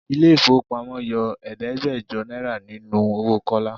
Ilé ifowopamo yọ Ẹ̀ẹ́dẹ́gbẹjọ náírà nínú owó Kọ́lá.